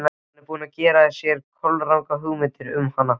Hann er búinn að gera sér kolrangar hugmyndir um hana.